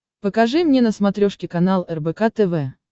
покажи мне на смотрешке канал рбк тв